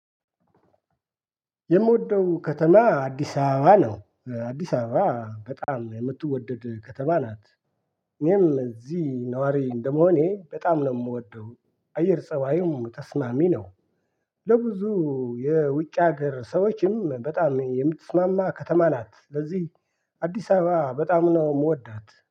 የምወደው ከተማ አዲስ አበባ ነው አዲስ አበባ በጣም የምትወደድ ከተማ ናት። እኔም እዚህ ነዋሪ እንደመሆኔ በጣም ነው የምወደው አየር ፀባዩም ተስማሚ ነው። ለብዙ የውጭ ሀገር ሰዎችም በጣም የምትስማማ ከተማ ናት። ለዚህ አዲስ አበባ በጣም ነው የምወዳት